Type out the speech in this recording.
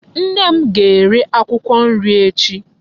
Nne m ga-ere akwụkwọ nri echi.